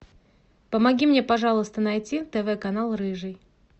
помоги мне пожалуйста найти тв канал рыжий